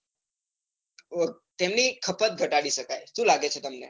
તેની ખપત ગાતડી શકાય. સુ લાગે છે તમને